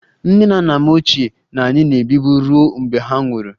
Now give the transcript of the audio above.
Nne na nna m ochie na anyị na-ebibu ruo mgbe ha nwụrụ